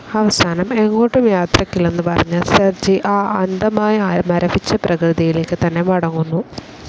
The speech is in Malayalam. അവസാനം എങ്ങോട്ടും യാത്രക്കില്ലെന്ന് പറഞ്ഞ് സെർജി ആ അന്തമായ മരവിച്ച പ്രകൃതിയിലേക്ക് തന്നെ മടങ്ങുന്നു.